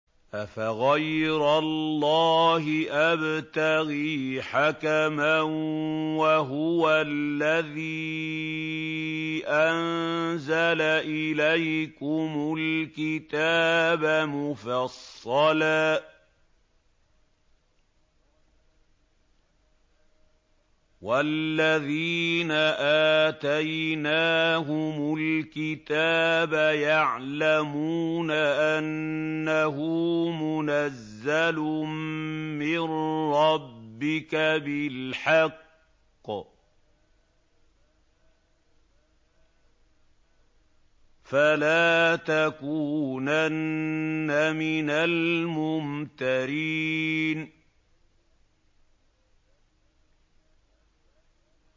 أَفَغَيْرَ اللَّهِ أَبْتَغِي حَكَمًا وَهُوَ الَّذِي أَنزَلَ إِلَيْكُمُ الْكِتَابَ مُفَصَّلًا ۚ وَالَّذِينَ آتَيْنَاهُمُ الْكِتَابَ يَعْلَمُونَ أَنَّهُ مُنَزَّلٌ مِّن رَّبِّكَ بِالْحَقِّ ۖ فَلَا تَكُونَنَّ مِنَ الْمُمْتَرِينَ